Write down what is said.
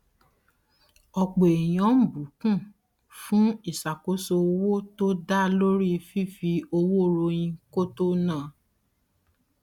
ọpọ ènìyàn ń bùkún fún ìṣàkóso owó tó dá lórí fífi owó ròyìn kó tó na